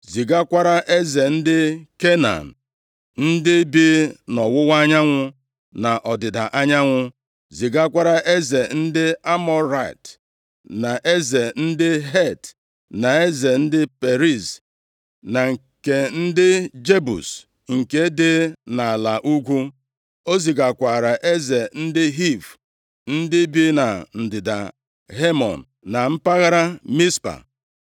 zigakwara eze ndị Kenan ndị bi nʼọwụwa anyanwụ, na ọdịda anyanwụ, zigakwara eze ndị Amọrait, na eze ndị Het, na eze ndị Periz, na nke ndị Jebus nke dị nʼala ugwu. O zigakwara eze ndị Hiv ndị bi na ndịda Hemon, na mpaghara Mizpa.